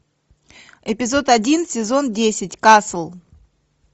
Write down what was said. эпизод один сезон десять касл